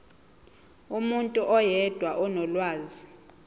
umuntu oyedwa onolwazi